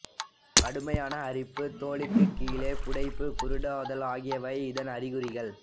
கடுமையான அரிப்பு தோலுக்குக் கீழே புடைப்பு குருடாதல் ஆகியவை இதன் அறிகுறிகள்